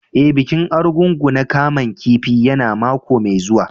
E,bikin Argungu na kaman kifi ya na mako mai zuwa.